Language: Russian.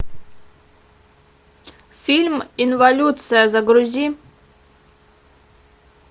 фильм инволюция загрузи